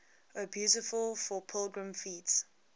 o beautiful for pilgrim feet